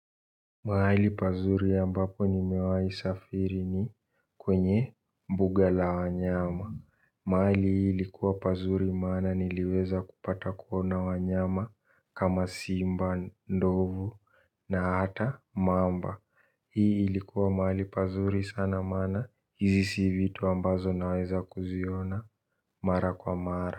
Mahali pazuri ambapo ni mewahi safiri ni kwenye mbuga la wanyama. Mahali hii likuwa pazuri maana niliweza kupata kuona wanyama kama simba ndovu na hata mamba. Hii likuwa mahali pazuri sana maana hizi si vitu ambazo naweza kuziona mara kwa mara.